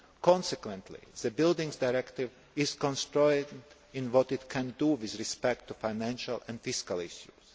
Consequently, the Buildings Directive is constrained in what it can do with respect to financial and fiscal